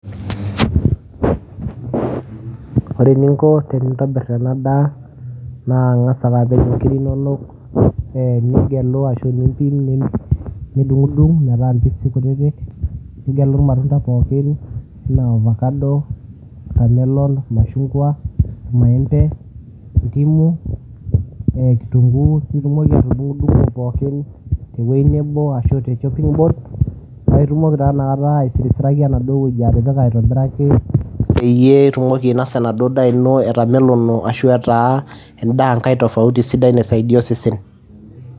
Ore eninko tenintobir ena daa naa ing'asa ake apik inkirik inono ee nigelu ashu nimpim nidung'dung' metaa mpisi kutitik, nigelu irmatunda pookin naa avacado, tamelon, mashung'wa, maembe, ndimu, ee kitung'uu piitumoki atudng'dung'o pookin te wuei nebo ashu te chopping board paake itumoki taa inakata aisirisiraki enaduo wueji atipika aitobiraki, peyieitumoki ainosa enaduo daa ino etamelono ashu etaa endaa nkae tofauti sidai naisaidia osesen.